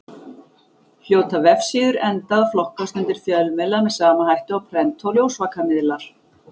Hljóta vefsíður enda að flokkast undir fjölmiðla með sama hætti og prent- og ljósvakamiðlar.